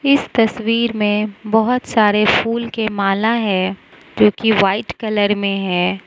इस तस्वीर मे बहोत सारे फूल के माला है जो की व्हाइट कलर मे है।